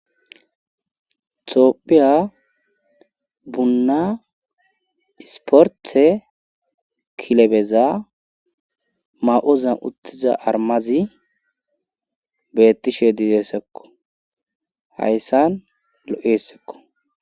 Tophiya bunna isporthe kilebeza ma7ozan uttiza armazi beettishe diideesekko hayssan lo7essekko.